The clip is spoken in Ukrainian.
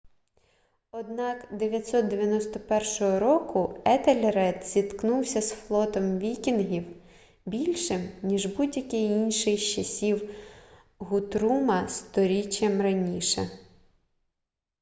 однак 991 року етельред зіткнувся з флотом вікінгів більшим ніж будь-який інший з часів гутрума сторіччям раніше